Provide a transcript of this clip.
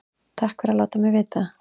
Takk fyrir að láta mig vita